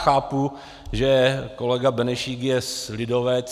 Chápu, že kolega Benešík je lidovec.